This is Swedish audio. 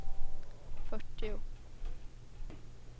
fyrtio